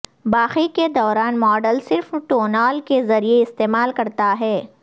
باقی کے دوران ماڈل صرف ٹونال کے ذریعہ استعمال کرتا ہے